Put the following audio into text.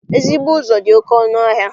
Ezigbo ụzọ dị oké ọnụ ahịa